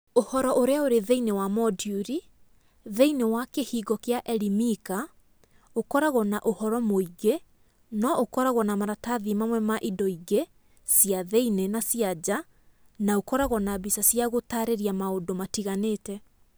Ũhoro ũrĩa ũrĩ thĩinĩ wa moduri, thĩinĩ wa Kĩhingo kĩa Elimika ũkoragwo na ũhoro mũingĩ no ũkoragwo na maratathi mamwe ma indo ingĩ cia thĩinĩ na cia nja na ũkoragwo na mbica cia gũtaarĩria maũndũ matiganĩte.